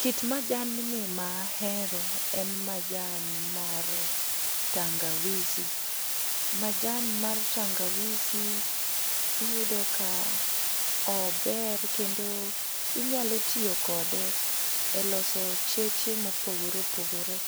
Kit manjand ni ma ahero en majan mar tangawisi. Majan mar tangawisi iyudo ka ober kendo inyalo tiyo kode e loso cheche mopogore opogore.